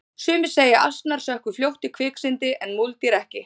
sumir segja að asnar sökkvi fljótt í kviksyndi en múldýr ekki